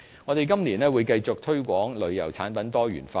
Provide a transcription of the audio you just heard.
我們今年會繼續推廣旅遊產品多元化。